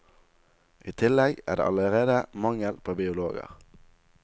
I tillegg er det allerede mangel på biologer.